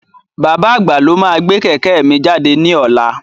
Bàbá àgbà lo máa gbé kẹ̀kẹ́ mi jáde ní ọlá.